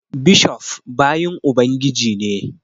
Bishof bayin Ubangiji ne